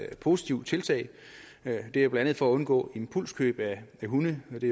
positivt tiltag det er blandt andet for at undgå impulskøb af hunde da det